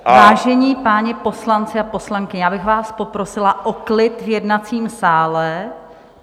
Vážení páni poslanci a poslankyně, já bych vás poprosila o klid v jednacím sále.